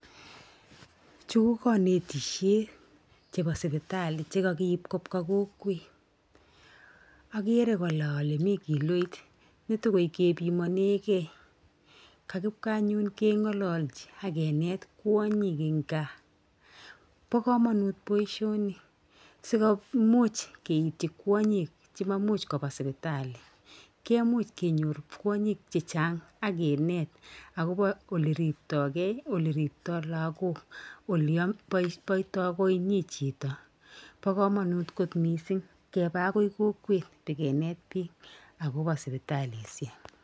Chu ko kanetisiet chebo suputali che kagiip kobwa kokwet. Agere kora ale mi kiloit ne togoi kepimaneigei. Kagipwa anyun kengalalji agenet kwonyik eng kaa. Bo kamanut boisioni sigomuch keityi kwonyik che maimimuch kopa supitali. Kemimuch kenyor kwonyik chechang ak kinet agobo oleriptoi ge, oleriptoi lagok, olepoitoi koinyin chito.. Bo kamanut mising keba agoi kokwet beginet bik agobo supitalisiek.